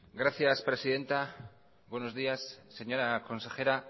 gracias presidenta buenos días señora consejera